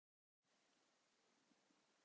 Samúel Örn Erlingsson, hvernig spyrðu?